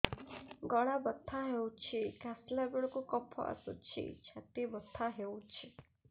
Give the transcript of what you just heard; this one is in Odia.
ଗଳା ବଥା ହେଊଛି କାଶିଲା ବେଳକୁ କଫ ଆସୁଛି ଛାତି ବଥା ହେଉଛି